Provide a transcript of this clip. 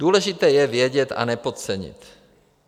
Důležité je vědět a nepodcenit.